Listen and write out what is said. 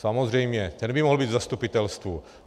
Samozřejmě, ten by mohl být v zastupitelstvu.